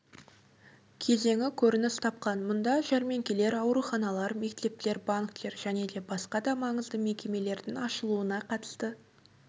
кезеңі көрініс тапқан мұнда жәрмеңкелер ауруханалар мектептер банктер және басқа да маңызды мекемелердің ашылуына қатысты